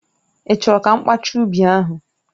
Ị́ chọrọ ka mkpaacha ubi ahụ